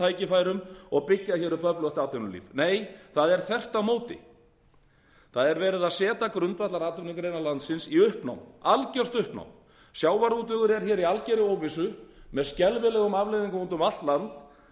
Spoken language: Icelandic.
tækifærum og byggja upp öflugt atvinnulíf nei það er þvert á móti það er verið að setja grundvallaratvinnugreinar landsins í uppnám algert uppnám sjávarútvegur er í algerri óvissu með skelfilegum afleiðingum út um allt land